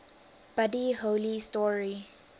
buddy holly story